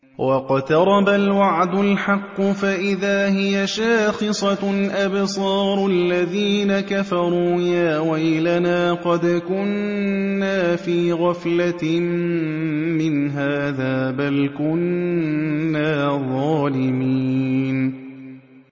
وَاقْتَرَبَ الْوَعْدُ الْحَقُّ فَإِذَا هِيَ شَاخِصَةٌ أَبْصَارُ الَّذِينَ كَفَرُوا يَا وَيْلَنَا قَدْ كُنَّا فِي غَفْلَةٍ مِّنْ هَٰذَا بَلْ كُنَّا ظَالِمِينَ